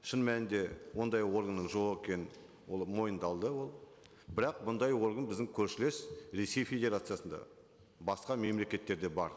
шын мәнінде ондай органның жоқ екені ол мойындалды ол бірақ бұндай орган біздің көршілес ресей федерациясында басқа мемлекеттерде бар